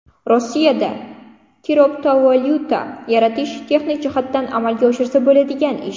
Rossiyada kriptovalyuta yaratish texnik jihatdan amalga oshirsa bo‘ladigan ish.